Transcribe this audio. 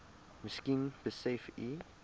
miskien besef u